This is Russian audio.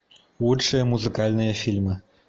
лучшие музыкальные фильмы